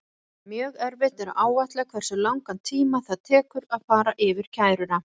Mjög erfitt er að áætla hversu langan tíma það tekur að fara yfir kæruna.